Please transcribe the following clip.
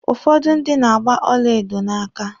Ụfọdụ ndị na-agba ọlaedo n'aka.